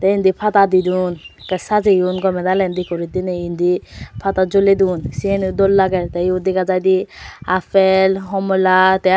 te indi pada didon te sajeyon gome dale decorate dine indi pada jole don te yot dega jaide apple homla te aro.